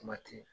Kuma tɛ